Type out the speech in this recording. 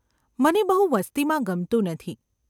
‘મને બહુ વસ્તીમાં ગમતું નથી.